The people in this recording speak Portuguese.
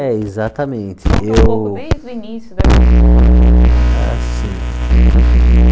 É, exatamente. Eu Conta um pouco desde o início assim